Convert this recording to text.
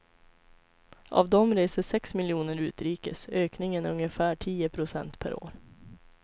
Av dem reser sex miljoner utrikes, ökningen är ungefär tio procent per år.